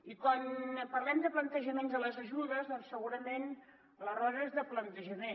i quan parlem de plantejaments de les ajudes doncs segurament l’error és de plantejament